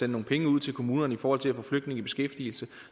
nogle penge ud til kommunerne i forhold til at få flygtninge i beskæftigelse